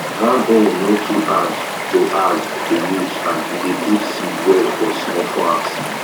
hand own no too hard to hard to use and e dey put seed well for small farms